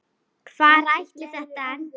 Hvar ætlaði þetta að enda?